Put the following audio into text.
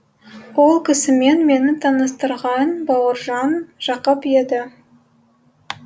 ол кісімен мені таныстырған бауыржан жақып еді